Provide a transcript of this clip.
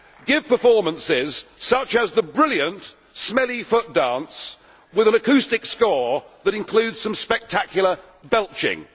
give performances such as the brilliant Smelly Foot dance, with an acoustic score that includes some spectacular belching'.